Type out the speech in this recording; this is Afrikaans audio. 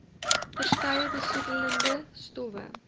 verskeie besoedelende stowwe